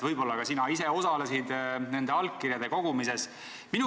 Võib-olla ka sina ise osalesid nende allkirjade kogumises.